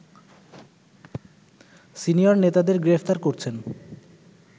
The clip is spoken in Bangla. সিনিয়র নেতাদের গ্রেপ্তার করছেন